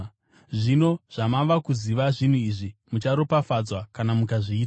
Zvino zvamava kuziva zvinhu izvi, mucharopafadzwa kana mukazviita.